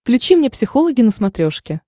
включи мне психологи на смотрешке